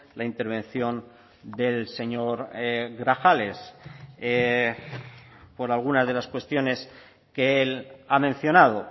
la intervención del señor grajales por algunas de las cuestiones que él ha mencionado